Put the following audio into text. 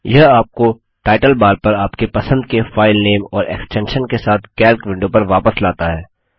यह आपको title bar पर आपके पसंद के फाइलनेम और एक्स्टेंशन के साथ कैल्क विंडो पर वापस लाता है